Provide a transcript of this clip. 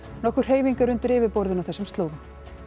nokkur hreyfing er undir yfirborðinu á þessum slóðum